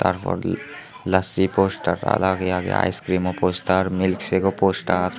tar poredi lachi postar a lage lage ice krim o postar milk sek o postar.